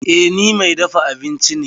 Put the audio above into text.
Eh, ni mai dafa abinci ne.